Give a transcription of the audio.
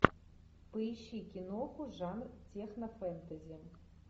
поищи киноху жанр технофэнтези